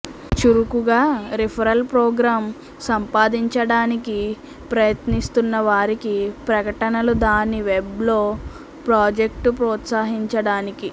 చురుకుగా referral programme సంపాదించడానికి ప్రయత్నిస్తున్న వారికి ప్రకటనలు దాని వెబ్ లో ప్రాజెక్టు ప్రోత్సహించడానికి